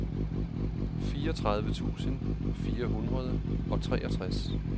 fireogtredive tusind fire hundrede og treogtres